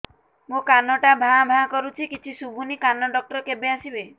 ମୋ କାନ ଟା ଭାଁ ଭାଁ କରୁଛି କିଛି ଶୁଭୁନି କାନ ଡକ୍ଟର କେବେ ଆସିବେ